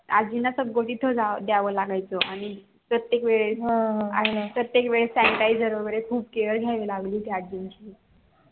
आजींना द्यावं लागायचं प्रत्येक वेळेस sanitizer वैगेरे खूप घावी लागली होती आजी ची